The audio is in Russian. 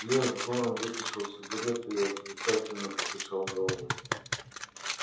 лес горм вытащил сигарету и отрицательно покачал головой